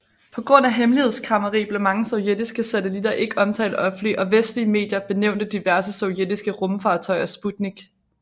På grund af hemmelighedskræmmeri blev mange sovjetiske satellitter ikke omtalt offentligt og vestlige medier benævnte diverse sovjetiske rumfartøjer Sputnik